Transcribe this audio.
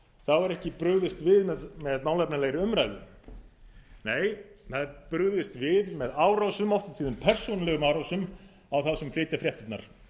þá er ekki brugðist við með málefnalegri umræðu nei það er brugðist við með árásum oft og tíðum persónulegum árásum á þá sem flytja fréttirnar